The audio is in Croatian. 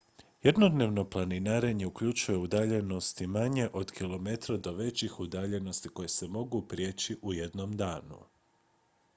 jednodnevno planinarenje uključuje udaljenosti manje od kilometra do većih udaljenosti koje se mogu prijeći u jednom danu